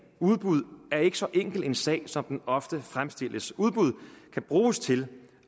udbud er ikke så enkel en sag som den ofte fremstilles udbud kan bruges til